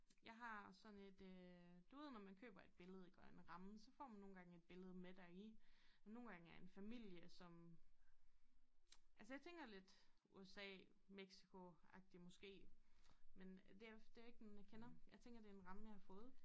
Jeg har sådan et øh du ved når man køber et billede iggå en ramme så får man nogle gange et billede med der er i nogle gange er en familie som altså jeg tænker lidt USA Mexicoagtig måske men det er det jo ikke nogen jeg kender jeg tænker det er en ramme jeg har fået